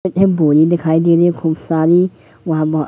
पीछे बोरी दिखाई देने खूब सारी वहां बह--